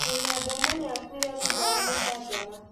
Mũmemba ũmwe nĩakuire thutha wa gĩcanjama